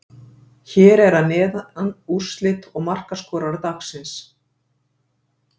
Hér eru að neðan eru úrslit og markaskorarar dagsins.